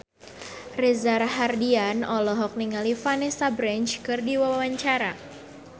Reza Rahardian olohok ningali Vanessa Branch keur diwawancara